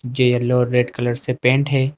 ये येलो और red colour से पेंट है।